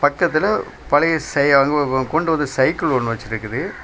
பக்கத்துல பழைய செய் ய அது அது கொண்டு வந்த சைக்கிள் ஒன்னு வச்சிருக்குது.